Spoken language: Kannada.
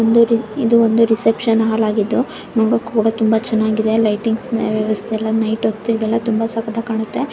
ಇದೊಂದು ರಿಸೆಪ್ಶನ್ ಹಾಳ್ ಆಗಿದ್ದು ಲೈಟಿಂಗ್ಸ್ ನ ವ್ಯವಸ್ಥೆ ಎಲ್ಲ ಇದೆ. ನೈಟ್ ಹೊತ್ತು ಸಕತ್ತಗಿ ಕಾಣುತ್ತೆ .